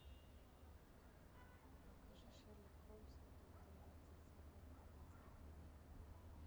покажи шерлок холмс и доктор ватсон собака баскервилей